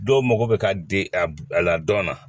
Dɔw mago bɛ ka di a la dɔn na